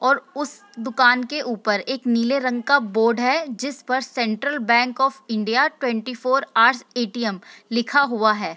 और उस दुकान के ऊपर एक नीले रंग का बोर्ड है जिस पर central bank of India twenty four hours ATM. लिखा हुआ है।